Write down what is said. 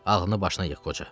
Ağlını başına yığ, qoca.